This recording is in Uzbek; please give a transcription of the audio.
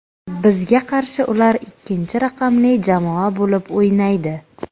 Bizga qarshi ular ikkinchi raqamli jamoa bo‘lib o‘ynaydi.